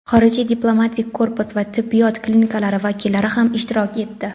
xorijiy diplomatik korpus va tibbiyot klinikalari vakillari ham ishtirok etdi.